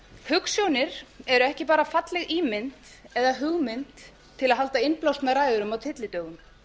hugsjónir eru ekki bara falleg ímynd eða hugmynd til að halda innblásnar ræður um á tyllidögum